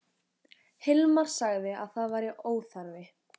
Hilmar sagði að það væri óþarfi.